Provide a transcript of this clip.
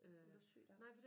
Hun var syg da